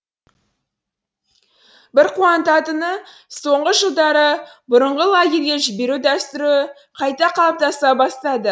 бір қуантатыны соңғы жылдары бұрынғы лагерге жіберу дәстүрі қайта қалыптаса бастады